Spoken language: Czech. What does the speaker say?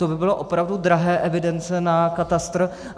To by byly opravdu drahé evidence na katastr.